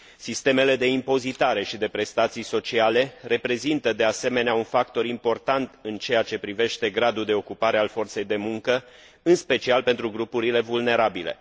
Sistemele de impozitare și de prestații sociale reprezintă, de asemenea, un factor important în ceea ce privește gradul de ocupare a forței de muncă, în special pentru grupurile vulnerabile.